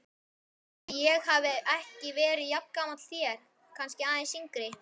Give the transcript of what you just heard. Ætli ég hafi ekki verið jafngamall þér, kannski aðeins yngri.